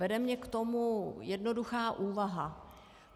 Vede mě k tomu jednoduchá úvaha.